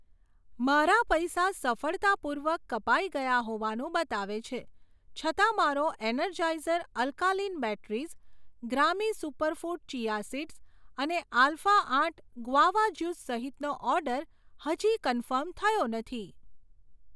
મારા પૈસા સફળતાપૂર્વક કપાઈ ગયા હોવાનું બતાવે છે, છતાં મારો Energizer alkaline batteries, Grami superfood chia seeds અને આલ્ફા આઠ ગુઆવા જ્યુસ સહિતનો ઓર્ડર હજી કન્ફર્મ થયો નથી.